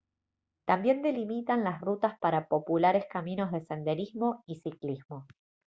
también delimitan las rutas para populares caminos de senderismo y ciclismo